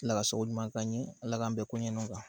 Ala ka sabu ɲuman k'an ɲe ala k'an bɛn koɲɛ nunnu kan